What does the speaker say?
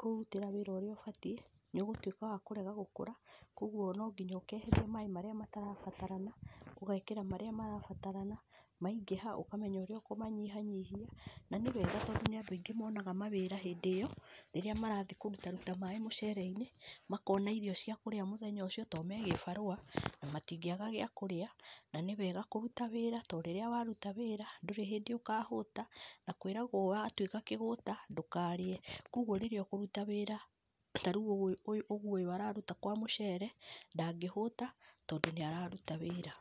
kũũrutĩra wĩra ũrĩa ũbatiĩ nĩ ũgũtuĩka wa kũrega gũkũra kwoguo no nginya ũkeheria maĩ marĩa matarabatarana ũgekĩra marĩa marabatarana, maingĩha ũkamenya ũrĩa ũkũmanyihanyihia. Na nĩ wega tondũ nĩ andũ aingĩ monaga mawĩra hĩndĩ ĩyo. Rĩrĩa marathiĩ kũrutaruta maĩ mũcereinĩ makona irio cia kũria mũthenya ũcio tondũ me gĩbarua matingĩaga gĩa kũrĩa. Na nĩ wega kũruta wĩra tondũ rĩrĩa waruta wĩra ndũrĩ hĩndĩ ũkahũta na kwĩragwo watuĩka kĩgũta ndũkarĩe. Kwoguo rĩrĩa ũkũruta wĩra tariũ ũguo ũyũ araruta kwa mũcere ndangĩhũta tondũ nĩararuta wĩra.